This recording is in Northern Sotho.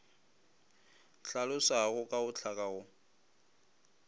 hlalosago ka go hlaka go